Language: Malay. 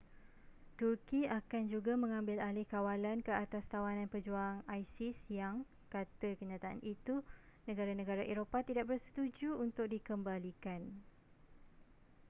turki akan juga mengambil alih kawalan ke atas tawanan pejuang isis yang kata kenyataan itu negara-negara eropah tidak bersetuju untuk dikembalikan